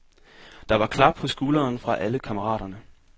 Der var klap på skulderen fra alle kammeraterne.